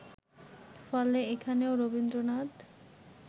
ফলে এখানেও রবীন্দ্রনাথ